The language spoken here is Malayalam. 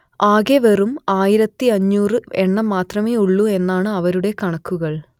ആകെ വെറും ആയിരത്തിയഞ്ഞൂറ് എണ്ണം മാത്രമേ ഉള്ളൂ എന്നാണ് അവരുടെ കണക്കുകൾ